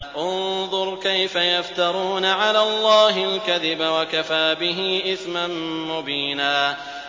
انظُرْ كَيْفَ يَفْتَرُونَ عَلَى اللَّهِ الْكَذِبَ ۖ وَكَفَىٰ بِهِ إِثْمًا مُّبِينًا